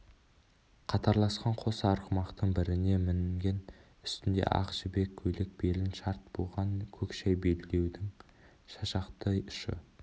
қатарласқан қос арғымақтың біріне мінген үстінде ақ жібек көйлек белін шарт буған көк шәй белбеудің шашақты ұшы